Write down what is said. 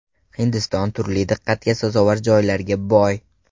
Hindiston turli diqqatga sazovor joylarga boy.